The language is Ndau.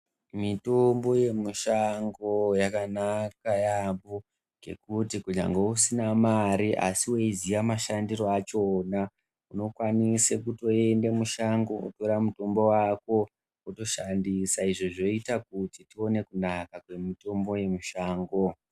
Mitombo yemushango yakanaka yaampho ,ngekuti kunyangwe usina mare ,asi weiziya mashandiro achona, unokwanise kutoende mushango kootora mutombo wako, wotoshandisa. Izvo zvoita kuti tione kunaka kwemitombo yemushango.